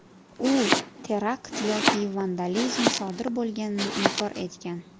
U terakt yoki vandalizm sodir bo‘lganini inkor etgan.